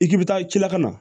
I k'i bɛ taa ci la ka na